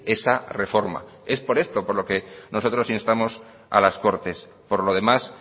esa reforma es por eso por lo que nosotros instamos a las cortes por lo demás